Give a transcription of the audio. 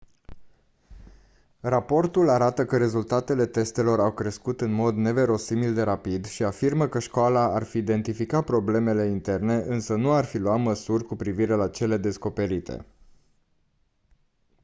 raportul arată că rezultatele testelor au crescut în mod neverosimil de rapid și afirmă că școala ar fi identificat probleme interne însă nu ar fi luat măsuri cu privire la cele descoperite